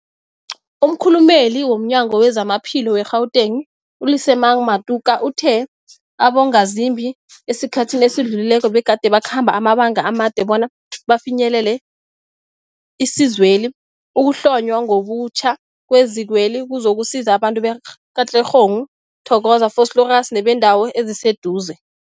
Umkhulumeli womNyango weZamaphilo we-Gauteng, u-Lesemang Matuka uthe abongazimbi esikhathini esidlulileko begade bakhamba amabanga amade bona bafinyelele isizweli. Ukuhlonywa ngobutjha kwezikweli kuzokusiza abantu be-Katlehong, Thokoza, Vosloorus nebeendawo eziseduze.